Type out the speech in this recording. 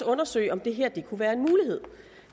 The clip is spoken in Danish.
undersøge om det her kunne være en mulighed